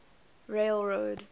railroad